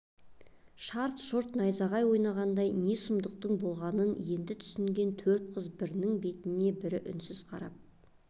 шарт-шұрт найзағай ойнатқандай не сұмдықтың болғанын енді түсінген төрт қыз бірінің бетіне бірі үнсіз қарап